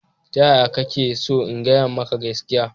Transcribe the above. Ta yaya kake so in biya muku gaskiya?